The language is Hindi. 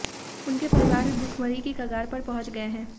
उनके परिवार भुखमरी की कगार पर पहुंच गए हैं